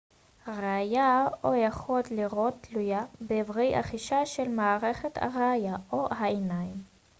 הראייה או היכולת לראות תלויה באיברי החישה של מערכת הראייה או העיניים